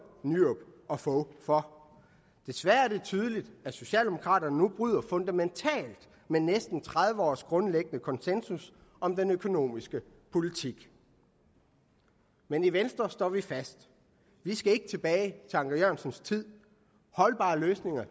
nyrup og fogh for desværre er det tydeligt at socialdemokraterne nu bryder fundamentalt med næsten tredive års grundlæggende konsensus om den økonomiske politik men i venstre står vi fast vi skal ikke tilbage til anker jørgensens tid holdbare løsninger